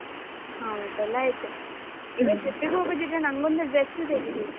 ಆ ಊಟ ಎಲ್ಲಾ ಆಯ್ತು. ಈಗ trip ಗೆ ಹೋಗುದಿದ್ರೆ ನಂಗೊಂದು dress ತೆಗಿಬೇಕು.